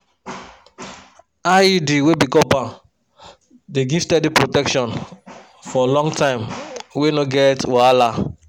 iud wey be copper dey give steady protection for long time wey no get wahala.